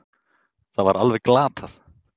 Það var alveg glatað